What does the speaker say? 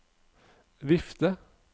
vifte